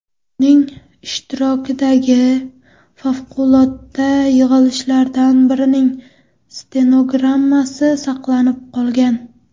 Uning ishtirokidagi favqulodda yig‘ilishlardan birining stenogrammasi saqlanib qolgan.